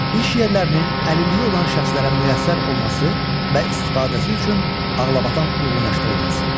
İş yerlərinin əlilliyi olan şəxslərə müyəssər olması və istifadəsi üçün ağlabatan uyğunlaşdırılması.